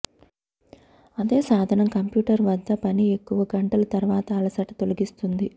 అదే సాధనం కంప్యూటర్ వద్ద పని ఎక్కువ గంటలు తర్వాత అలసట తొలగిస్తుంది